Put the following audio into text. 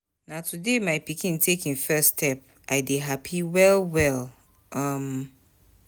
Na today my pikin take im first step, I dey hapi well-well. um